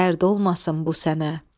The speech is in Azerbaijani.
Dərd olmasın bu sənə.